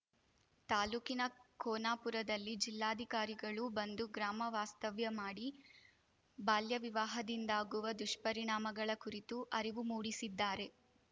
ತಾಲೂಕಿನ ಕೋನಾಪುರದಲ್ಲಿ ಜಿಲ್ಲಾಧಿಕಾರಿಗಳು ಬಂದು ಗ್ರಾಮ ವಾಸ್ತವ್ಯ ಮಾಡಿ ಬಾಲ್ಯವಿವಾಹದಿಂದಾಗುವ ದುಷ್ಪರಿಣಾಮಗಳ ಕುರಿತು ಅರಿವು ಮೂಡಿಸಿದ್ದಾರೆ